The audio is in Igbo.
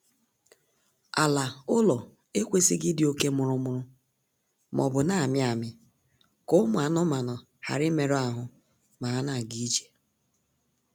Ala ụlọ ekwesịghị ịdị oke mụrụmụrụ maọbụ na-amị amị ka ụmụ anụmaanụ ghara imerụ ahụ ma ha na-ga ije